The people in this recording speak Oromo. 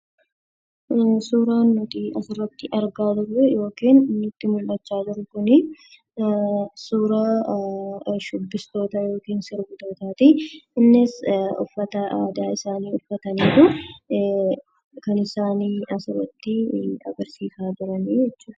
Suuraan nuti asirratti argaa jirru yookiin nutti mul'achaa jiru kun suuraa shubbistootaa yookiin sirbitootaati. Innis uffata aadaa isaanii uffataniitu kan isaan asirratti agarsiisaa jiran jechuudha.